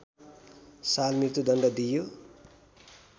साल मृत्यृदण्ड दिइयो